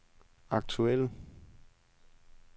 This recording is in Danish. aktuelle